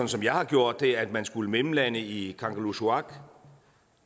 som jeg har gjort det at man skulle mellemlande i kangerlussuaq